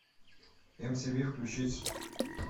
мтв включить